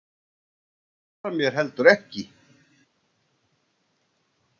Hún svarar mér heldur ekki.